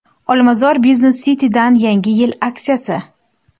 Olmazor Business City’dan yangi yil aksiyasi.